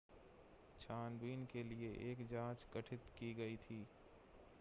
छानबीन के लिए एक जांच गठित की गई थी